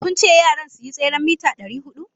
Kun ce yaran su yi tseren mita dari hudu?